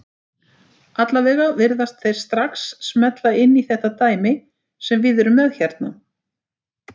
Allavega virðast þeir strax smella inn í þetta dæmi sem við erum með hérna.